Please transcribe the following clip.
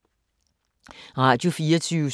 Radio24syv